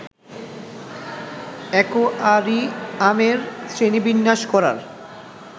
অ্যাকোয়ারিয়ামের শ্রেণীবিন্যাস করার